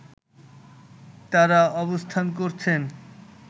তারা অবস্থান করছেন